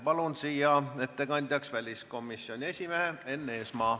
Palun ettekandeks siia väliskomisjoni esimehe Enn Eesmaa.